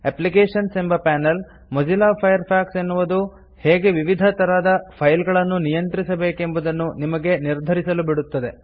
applications ಎಂಬ panel Mozilla Firefox ಎನ್ನುವುದು ಹೇಗೆ ವಿವಿಧ ತರದ ಫೈಲ್ಗಳನ್ನು ನಿಯಂತ್ರಿಸಬೇಕೆಂಬುವುದನ್ನು ನಿಮಗೆ ನಿರ್ಧರಿಸಲು ಬಿಡುತ್ತದೆ